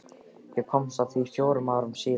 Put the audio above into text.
Ég komst að því fjórum árum síðar.